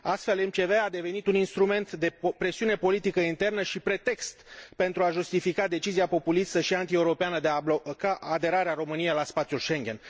Astfel, MCV a devenit un instrument de presiune politică internă și pretext pentru a justifica decizia populistă și antieuropeană de a bloca aderarea României la spațiul Schengen.